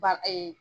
Ba ee